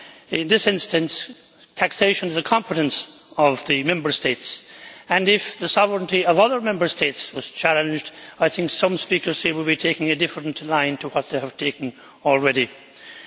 In this instance, taxation is the competence of the Member States, and if the sovereignty of other Member States was challenged, I think some speakers here would be taking a different line to what they have taken so far.